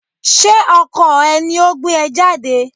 Ṣé ọkọ ẹ ni o gbé ẹ jáde?